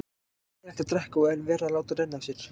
Hræðilegt að drekka og enn verra að láta renna af sér.